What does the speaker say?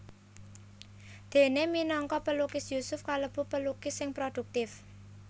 Déné minangka pelukis Yusuf kalebu pelukis sing prodhuktif